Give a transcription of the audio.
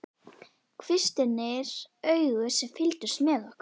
Kvistirnir augu sem fylgdust með okkur.